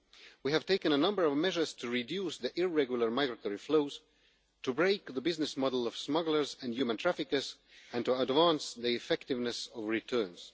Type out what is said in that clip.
We have taken a number of measures to reduce the irregular migratory flows, to break the business model of smugglers and human traffickers, and to advance the effectiveness of returns.